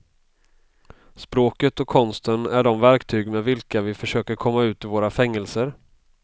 Språket och konsten är de verktyg med vilka vi försöker komma ut ur våra fängelser.